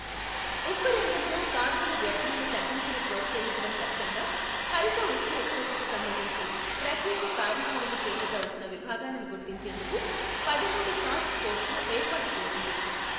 ఉక్కు రంగంలో కార్బన వ్యర్థాల తగ్గింపును ప్రోత్సహించడం లక్ష్యంగా హరిత ఉక్కు ఉత్పత్తికి సంబంధించి ప్రత్యేక కార్యాచరణ చేపట్టవలసిన విభాగాలను గుర్తించేందుకు పదమూడు టాస్క్ ఫోర్స్ లు ఏర్పాటు చేసింది.